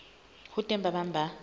ho teng ba bang ba